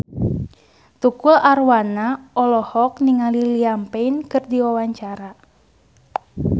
Tukul Arwana olohok ningali Liam Payne keur diwawancara